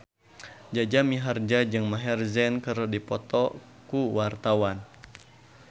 Jaja Mihardja jeung Maher Zein keur dipoto ku wartawan